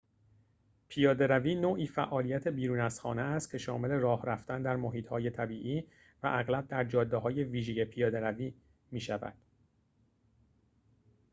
پیاده‌روی نوعی فعالیت بیرون از خانه است که شامل راه رفتن در محیط‌های طبیعی و اغلب در جاده‌های ویژه پیاده‌روی می‌شود